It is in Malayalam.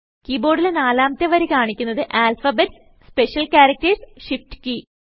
കീ ബോർഡിലെ നാലാമത്തെ വരി കാണിക്കുന്നത് alphabets special characters shift key ഉം